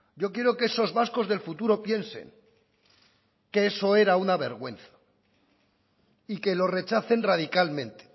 yo quiero que esos vascos del futuro piensen que eso era una vergüenza y que lo rechacen radicalmente